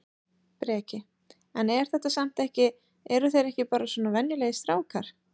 Breki: En er þetta samt ekki eru þeir ekki bara svona venjulegir strákar?